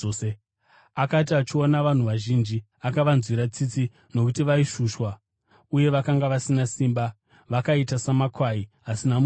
Akati achiona vanhu vazhinji, akavanzwira tsitsi nokuti vaishushwa uye vakanga vasina simba, vakaita samakwai asina mufudzi.